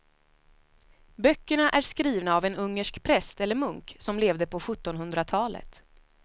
Böckerna är skrivna av en ungersk präst eller munk som levde på sjuttonhundratalet.